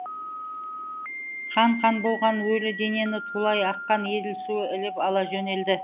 қан қан болған өлі денені тулай аққан еділ суы іліп ала жөнелді